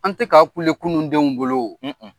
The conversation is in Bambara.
An tɛ ka kule kunundenw bolo o.